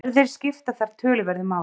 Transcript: Erfðir skipta þar töluverðu máli.